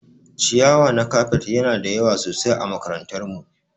Ciyawa na kafet Yana da yawa sosai ã makarantar mu.